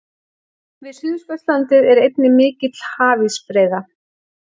Við Suðurskautslandið er einnig mikil hafísbreiða.